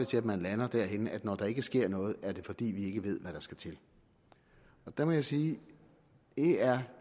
til at man lander derhenne at når der ikke sker noget er det fordi vi ikke ved hvad der skal til der må jeg sige det er